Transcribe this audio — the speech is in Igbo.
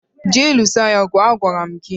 je alụso ya ọgụ. Agwara m gị!